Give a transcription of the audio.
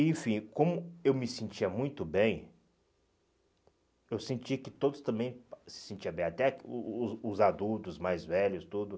Enfim, como eu me sentia muito bem, eu sentia que todos também se sentiam bem, até o o os adultos, os mais velhos, tudo